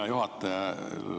Hea juhataja!